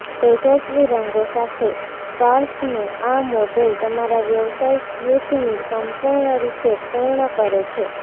તેજસ્વી રંગો સાથે સ્કાર્ફનું આ મોડેલ તમારા વ્યવસાય સ્યુટની સંપૂર્ણ રીતે પૂર્ણ કરે છે